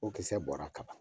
O kisɛ bɔra ka ban.